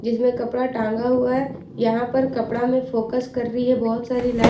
इसमें कपड़ा टंगा हुआ है यहां पर कपड़ा में फोकस कर रही है बहुत सारी लाइट --